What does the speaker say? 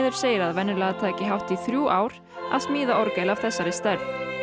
segir að venjulega taki hátt í þrjú ár að smíða orgel af þessari stærð